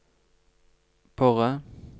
Borre